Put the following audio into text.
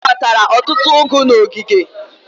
Ijeoma kpatara ọtụtụ ụgụ n'ogige.